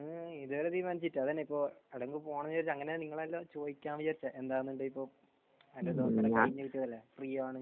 ഏഹ് ഇത് വരെ തീരുമാനിച്ചിട്ടില്ല. എന്താ പറയാ ഇപ്പോൾ അങ്ങനെ ഇപ്പോൾ പോകണമെന്ന് വിചാരിച്ചാൽ അല്ല നീങ്ങളോട് ചോദിക്കാമെന്നാണ് വിചാരിച്ചത്. എന്താണ് ഇപ്പോൾ ഫ്രീ ആണ്.